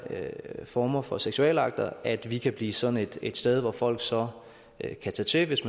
former for seksualakter at vi kan blive sådan et sted hvor folk så kan tage til hvis